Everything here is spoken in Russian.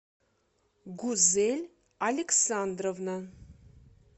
гузель александровна